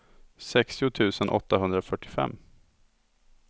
sextio tusen åttahundrafyrtiofem